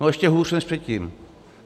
No, ještě hůř než předtím.